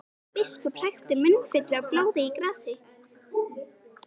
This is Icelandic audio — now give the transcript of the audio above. Biskup hrækti munnfylli af blóði í grasið.